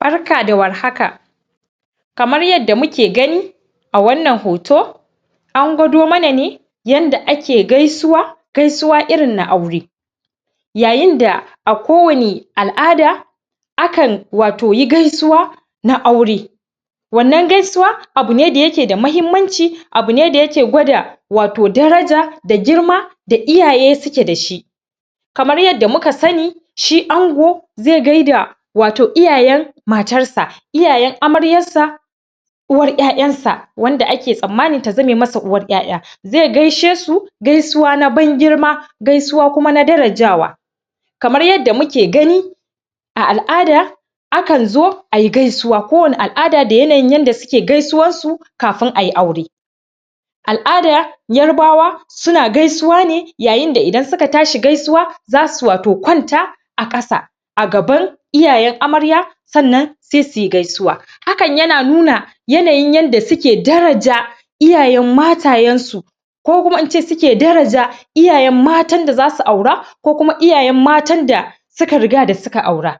Barka da warhaka. Kamar yadda muke gani a wannan hoto, an gwado mana ne yanda ake gaisuwa, gaisuwa irin na aure. Yayinda a kowani al'ada a kan wato yi gaisuwa na aure, wannan gaisuwa abu ne da yake da mahimmanci, abu ne da yake gwada wato daraja da girma da iyaye suke dashi. Kamar yadda muka sani shi ango ze gaida wato iyayan matarsa iyayan amaryan sa, uwar ƴaƴan sa, wanda ake tsanmani ta zame masa uwar ƴaƴan, ze gaishe su gaisuwa na ban girma, gaisuwa kuma na darajawa. Kamar yadda muke gani, a al'ada a kan zo ayi gaisuwa, ko wani al'ada da yanayin yanda suke gaisuwan su kafun ayi aure. Al'ada yarbawa suna gaisuwa ne yayinda idan suka tashi gaisuwa zasu wato kwanta a ƙasa a gaban iyayan amarya sannan sai suyi gaisuwa, hakan yana nuna yanayin yanda suke daraja iyayan matayen su, ko kuma ince suke daraja iyayan matan da zasu aura, ko kuma iyayan matan da suka riga da suka aura.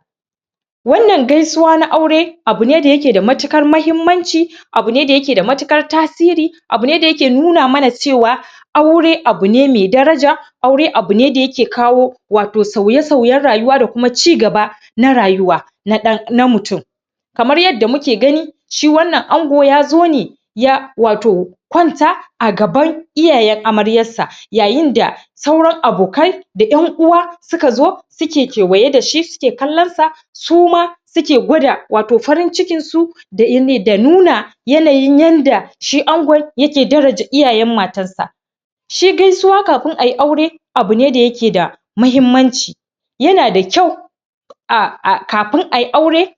Wannan gaisuwa na aure, abu ne da yake da matukar mahimmanci, abu ne da yake da matuƙar tasiri, abu ne da yake nuna mana cewa aure abu ne mai daraja, aure abu ne da yake kawo wato sauye-sauyen rayuwa da kuma ci gaba na rayuwa na ɗan na mutum. Kamar yadda muke gani, shi wannan ango yazo ne ya wato kwanta a gaban iyayan amaryar sa, yayin da sauran abokai da ƴan uwa suka zo suke kewaye dashi suke kallan sa, su ma suke gwada wato farin cikin su da da nuna yanayi yanda shi angon yake daraja iyayen matar sa. Shi gaisuwa kafin ayi aure abu ne da yake da mahimmanci, yana da kyau a a kafin ayi aure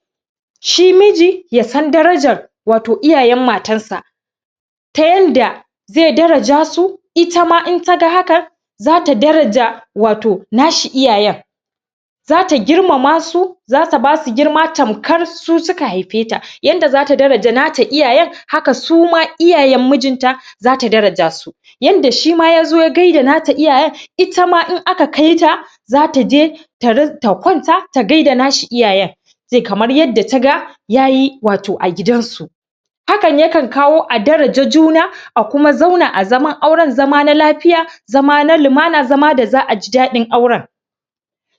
shi miji yasan darajar wato iyayan matarsa, ta yanda ze daraja su itama in taga hakan za ta daraja wato nashi iyayan, zata girmama su, za ta basu girma tamkar su suka haifeta, yanda za ta daraja nata iyayan haka suma iyayan mujinta za ta daraja su, yanda shima yazo ya gaida nata iyayan itama in aka kaita zata je ta ta kwanta, ta gaida nashi iyayan kamar yadda taga yayi wato a gidansu. Hakan ya kan kawo a daraja juna, a kuma zauna a zaman auran zama na lafiya, zama na lumana, zama da za'aji daɗin auren.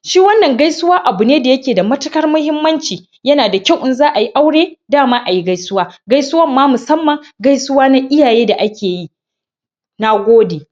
Shi wannan gaisuwa abu ne wanda yake da matuƙar mahimmanci, yana da kyau in za ayi aure dama ayi gaisuwa, gaisuwan ma musamman gaisuwa na iyaye da ake yi. Nagode.